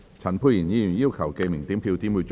陳沛然議員要求點名表決。